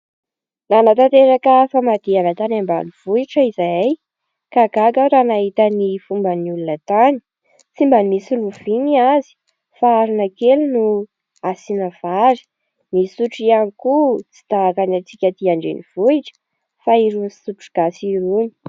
Nanatanteraka famadihana tany ambanivohitra izahay ka gaga aho raha nahita ny fomban'ny olona tany tsy mba misy lovia ny azy fa arona kely no asiana vary. Ny sotro ihany koa tsy tahaka ny antsika aty an-drenivohitra fa irony sotro gasy irony.